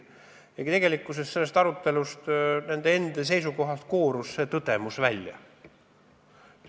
Tegelikult koorus see tõdemus välja nende seisukohast tollel istungil.